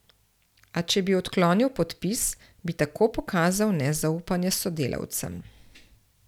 A če bi odklonil podpis, bi tako pokazal nezaupanje sodelavcem.